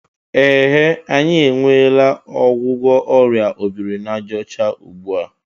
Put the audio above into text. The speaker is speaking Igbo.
Ehe! E nweela ọgwụgwọ ọrịa obirinajaọcha ugbu a